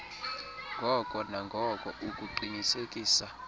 ngoko nangoko ukuqinisekisa